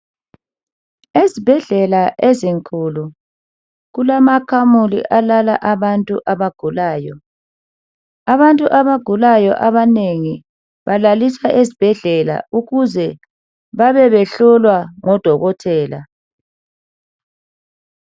Ezibhedlela ezinkulu kulamakamela alala abantu abagulayo. Abantu abagulayo abanengi balaliswa esibhedlela ukuze babe behlolwa ngodokotela.